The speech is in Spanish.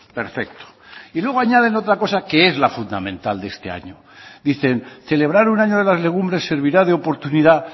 perfecto y luego añaden otra cosa que es la fundamental de este año dicen celebrar un año de las legumbres servirá de oportunidad